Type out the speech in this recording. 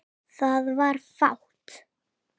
Það var fátt.